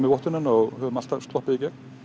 í vottunina og alltaf sloppið